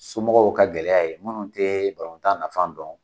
Somɔgɔw ka gɛlɛya ye minnu te tan nafa dɔn